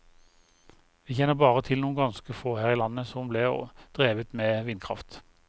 Vi kjenner bare til noen ganske få her i landet som ble drevet med vindkraft.